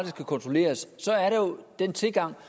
skal kontrolleres så er der jo den tilgang